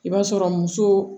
I b'a sɔrɔ muso